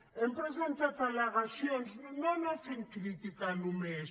hem presentat al·legacions no fent crítica només